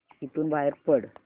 इथून बाहेर पड